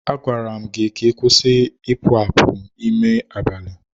A gwara gị ka ị kwụsị ịpụ apụ n'ime abalị!